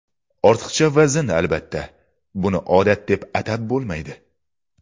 Ortiqcha vazn Albatta, buni odat deb atab bo‘lmaydi.